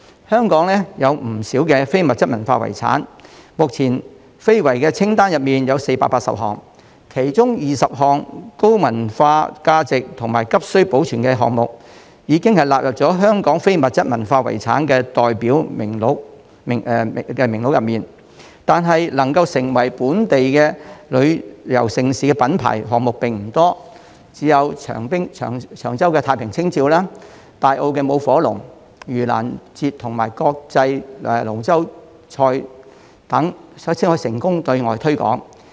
香港有不少非遺，目前，香港非遺清單上有480個項目，其中有20項具有高文化價值和急需保存的項目，已納入香港非遺代表作名錄中，但能夠成為本地旅遊盛事品牌的項目並不多，只有長洲太平清醮、大坑舞火龍、盂蘭節和國際龍舟邀請賽等才可成功對外推廣。